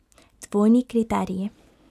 Dvojni kriteriji.